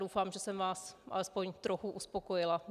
Doufám, že jsem vás alespoň trochu uspokojila.